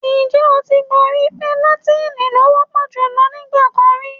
Ǹjẹ́ o ti gbọ́ pé làtín-ín ló wọ́ pọ̀ jùlọ nígbà kan rí?